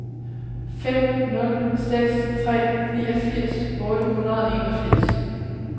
fem nul seks tre niogfirs otte hundrede og enogfirs